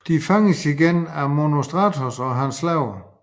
De fanges igen af Monostatos og hans slaver